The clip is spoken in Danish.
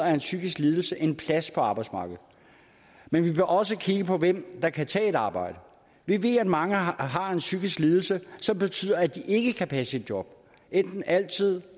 en psykisk lidelse en plads på arbejdsmarkedet men vi bør også kigge på hvem der kan tage et arbejde vi ved at mange har en psykisk lidelse som betyder at de ikke kan passe et job enten altid